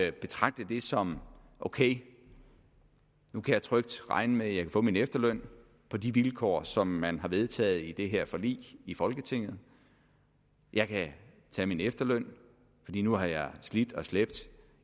at betragte det som ok nu kan jeg trygt regne med at jeg kan få min efterløn på de vilkår som man har vedtaget i det her forlig i folketinget jeg kan tage min efterløn lige nu har jeg slidt og slæbt